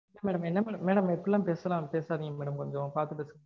madam என்ன madam. madam இப்படிலாம் பேசனா பேசாதீங்க madam கொஞ்சம் பாத்து பேசுங்க